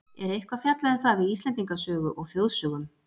er eitthvað fjallað um það í íslendingasögu og þjóðsögum